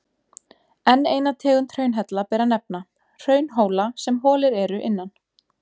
Enn eina tegund hraunhella ber að nefna, hraunhóla sem holir eru innan.